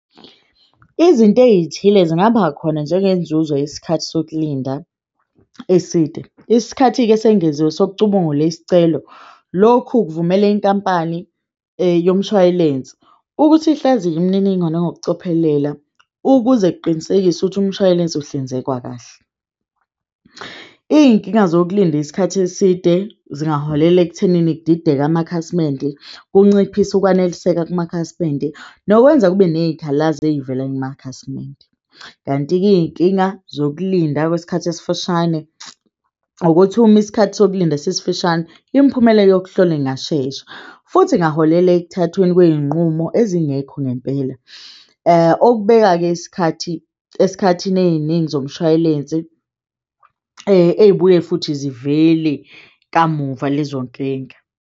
Izinto eyithile zingaba khona njengenzuzo yesikhathi sokulinda eside. Isikhathi-ke esengeziwe sokucubungula isicelo lokhu kuvumela inkampani yomshwalense ukuthi ihlaziye imininingwane ngokucophelela ukuze kuqinisekiswe ukuthi umshwalense ukuhlinzekwa kahle. Iyinkinga zokulinda isikhathi eside zingaholela ekuthenini kudideke amakhasimende, kunciphise ukwaneliseka kwamakhasimende, nokwenza kube neyikhalazo eyivela kumakhasimende. Kanti-ke, iyinkinga zokulinda kwesikhathi esifushane ukuthi uma isikhathi sokulinda sisifishane, imiphumela yokuhlola ingashesha futhi kungaholela ekuthathweni kweyinqumo ezingekho ngempela. Okubeka-ke isikhathi esikhathini eyiningi zomshwalense eyibuye futhi zivele kamuva lezonkinga.